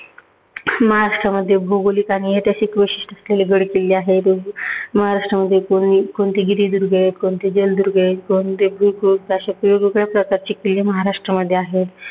महाराष्ट्रामध्ये भौगोलिक आणि ऐतिहासिक वैशिष्ट्य असलेले गडकिल्ले आहेत. महाराष्ट्रामध्ये कोणते गिरिदुर्ग आहेत, कोणते जलदुर्ग आहेत, कोणते भौगोलिक असे वेगवेगळ्या प्रकारचे किल्ले महाराष्ट्रामध्ये आहेत.